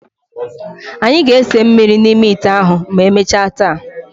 Anyị ga-esi mmiri n'ime ite ahụ ma emechaa taa.